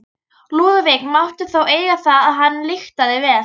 Lúðvík mátti þó eiga það að hann lyktaði vel.